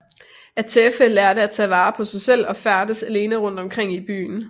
Atefeh lærte at tage vare på sig selv og færdedes alene rundt omkring i byen